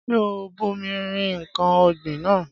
Ṣé o bomi rin ǹkan ọ̀gbìn náà?